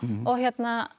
og